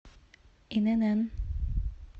инн